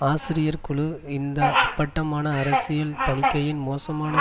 ஆசிரியர் குழு இந்த அப்பட்டமான அரசியல் தணிக்கையின் மோசமான